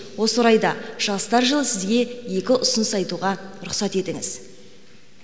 осы орайда жастар жылы сізге екі ұсыныс айтуға рұқсат етіңіз